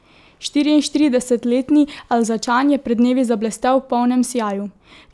Štiriinštiridesetletni Alzačan je pred dnevi zablestel v polnem sijaju.